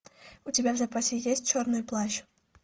у тебя в запасе есть черный плащ